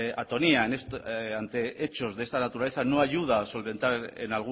atonía ante hechos de esta naturaleza no ayuda a solventar en